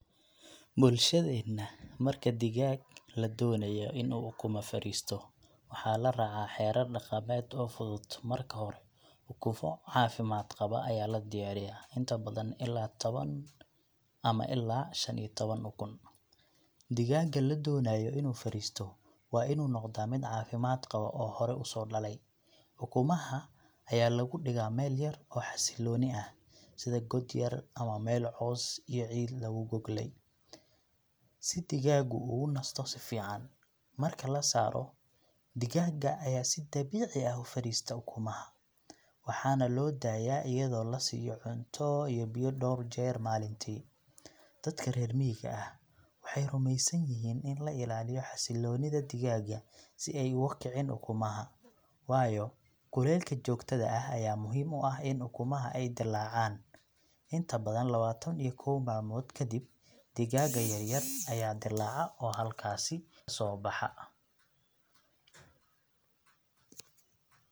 Bulshadeena, marka digaag la doonayo in uu ukumo fadhiisto, waxaa la raacaa xeerar dhaqameed oo fudud. Marka hore, ukumo caafimaad qaba ayaa la diyaariyaa, inta badan ilaa tawan ama ilaa shan iyo tawan ukun. Digaagga la doonayo inuu fadhiisto waa inuu noqdaa mid caafimaad qaba oo hore u soo dhalay. Ukumaha ayaa lagu dhigaa meel yar oo xasilloon ah , sida god yar ama meel caws iyo ciid lagu goglay, si digaaggu ugu nasto si fiican. Marka la saaro, digaagga ayaa si dabiici ah u fadhista ukumaha, waxaana loo daayaa iyadoo la siiyo cunto iyo biyo dhowr jeer maalintii. Dadka reer miyiga ah waxay rumeysan yihiin in la ilaaliyo xasilloonida digaagga si ay uga kicin ukumaha, waayo kulaylka joogtada ah ayaa muhiim u ah in ukumaha ay dillaacaan. Inta badan, lawatan iyo koow maalmood kadib, digaagga yaryar ayaa dillaaca oo halkaasi soobaxa.